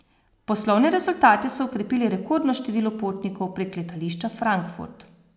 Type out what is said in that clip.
Poslovne rezultate so okrepili rekordno število potnikov prek letališča Frankfurt.